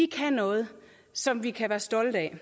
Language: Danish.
kan noget som vi kan være stolte af